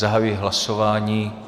Zahajuji hlasování.